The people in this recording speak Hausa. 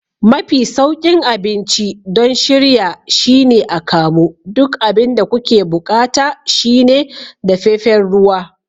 Mafi sauƙin abinci don shirya shine akamu. Duk abin da kuke buƙata shine dafefen ruwa.